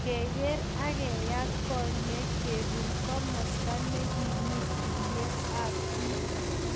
Keker akeyat konyek, kebun komasta nekimii tuiyet ab biik